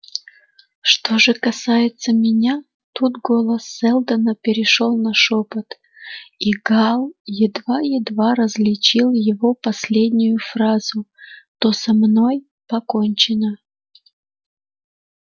что же касается меня тут голос сэлдона перешёл на шёпот и гаал едва-едва различил его последнюю фразу то со мной покончено